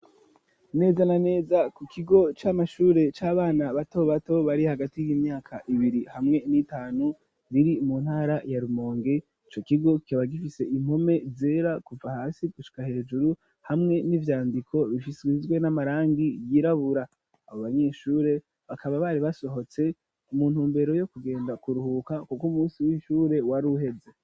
Neza na neza ku kigo c'amashure c'abana bato bato bari hagati y'imyaka ibiri hamwe n'itanu, biri mu ntara ya Rumongo ico kigo kikaba gifise impome zera kuva hasi gushika hejuru hamwe n'ivyandiko bisizwe n'amarangi yirabura abo banyeshure bakaba bari basohotse umuntu mbere yo kugenda kuruhuka kuko umunsi w'ishure wari uheze.